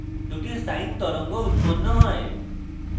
দুটি sine তরঙ্গ উৎপন্ন হয়